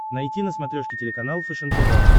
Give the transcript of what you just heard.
найти на смотрешке телеканал фэшен тв